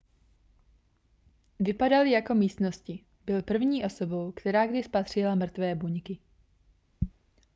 vypadaly jako místnosti byl první osobou která kdy spatřila mrtvé buňky